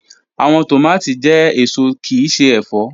Awọn tomati jẹ eso kii ṣe ẹfọ